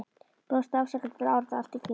Brosti afsakandi til áhorfenda allt í kring.